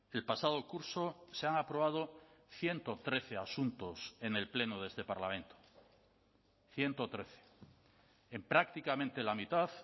el pasado curso se han aprobado ciento trece asuntos en el pleno de este parlamento ciento trece en prácticamente la mitad